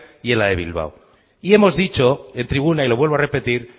y en la de bilbao y hemos dicho en tribuna y lo vuelvo a repetir